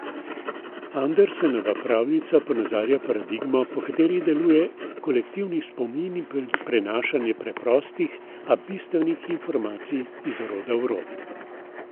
Andersenova pravljica ponazarja paradigmo, po kateri deluje kolektivni spomin in prenašanje preprostih, a bistvenih informacij iz roda v rod.